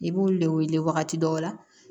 I b'olu le wele wagati dɔ la